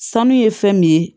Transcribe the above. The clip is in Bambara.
Sanu ye fɛn min ye